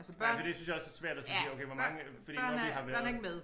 Nej fordi det synes jeg også er svært at sige sige okay hvor mange fordi når vi har været